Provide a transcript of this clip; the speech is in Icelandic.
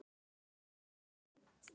Þetta fer aldrei.